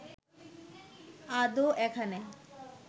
আদৌ এখানে